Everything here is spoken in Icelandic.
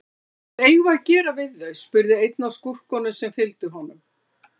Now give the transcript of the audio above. Hvað eigum við að gera við þau, spurði einn af skúrkunum sem fylgdu honum.